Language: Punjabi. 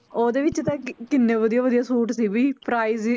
ਉਹਦੇ ਵਿੱਚ ਤਾਂ ਕਿ~ ਕਿੰਨੇ ਵਧੀਆ ਵਧੀਆ ਸੂਟ ਸੀ ਵੀ price ਵੀ